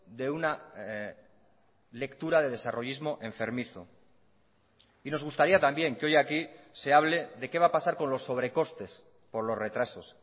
de una lectura de desarrollismo enfermizo y nos gustaría también que hoy aquí se hable de qué va a pasar con los sobrecostes por los retrasos